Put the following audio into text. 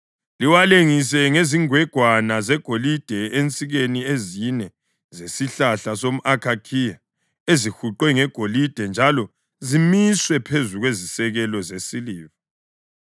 Liwalengise ngezingwegwana zegolide ensikeni ezine zesihlahla somʼakhakhiya ezihuqwe ngegolide njalo zimiswe phezu kwezisekelo zesiliva.